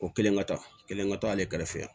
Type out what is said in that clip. O kelen ka taa kelen ka to ale kɛrɛfɛ